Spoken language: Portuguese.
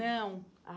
Não.